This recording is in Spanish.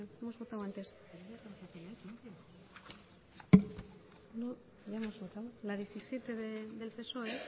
hemos votado antes la diecisiete del psoe